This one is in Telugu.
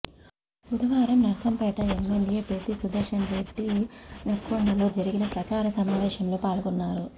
బుధవారం నర్సంపేట ఎమ్మెల్యే పెద్ది సుదర్శన్రెడ్డి నెక్కొండలో జరిగిన ప్రచార సమావేశంలో పాల్గొన్నారు